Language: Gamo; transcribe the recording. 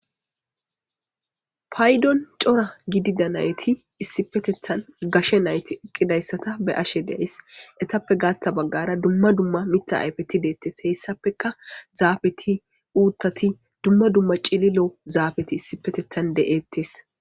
Paydon cora gidida nayti issipepetettan gashe nsyti eqqidayta be'ashe de'ays. Etappe gaaththa baggara dumma dumma mitta ayfeti deetes. Heyssapekka zaafeti uuttati dumma dumma cililo zaafeti issipetettan de'etes.